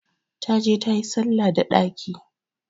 Ta je tayi salla da ɗaki!